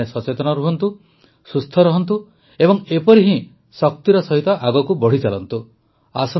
ଆପଣମାନେ ସଚେତନ ରହନ୍ତୁ ସୁସ୍ଥ ରହନ୍ତୁ ଏବଂ ଏପରି ହିଁ ଶକ୍ତି ସହିତ ଆଗକୁ ବଢ଼ିଚାଲନ୍ତୁ